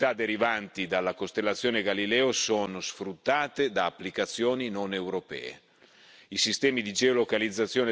Oggi molte delle utilità derivanti dalla costellazione Galileo sono sfruttate da applicazioni non europee.